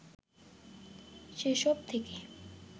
সেসব থেকে